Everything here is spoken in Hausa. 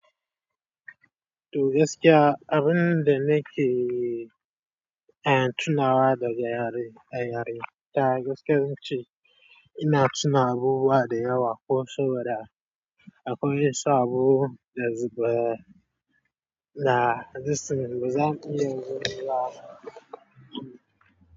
To gaskiya abin da nake tunawa daga yare a yaranta, da gaske zan ce ina tuna abubuwa da yawa ko kusaboda abun ya sa abu da na zabi zan iya zuba.